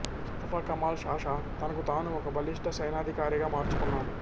Mustafa Kemal Pasha తనకుతాను ఒక బలిష్ట సైనికాధికారిగా మార్చుకున్నాడు